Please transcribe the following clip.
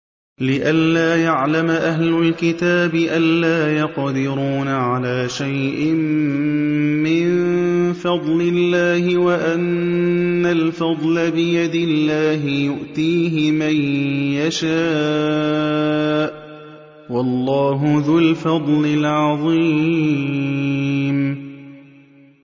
لِّئَلَّا يَعْلَمَ أَهْلُ الْكِتَابِ أَلَّا يَقْدِرُونَ عَلَىٰ شَيْءٍ مِّن فَضْلِ اللَّهِ ۙ وَأَنَّ الْفَضْلَ بِيَدِ اللَّهِ يُؤْتِيهِ مَن يَشَاءُ ۚ وَاللَّهُ ذُو الْفَضْلِ الْعَظِيمِ